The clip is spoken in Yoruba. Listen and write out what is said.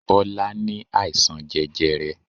Bọlá ní àìsàn jẹjẹrẹ.